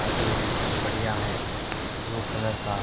auto एक दम बढ़िया है ब्लू कलर का--